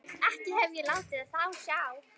Ekki hef ég látið á sjá.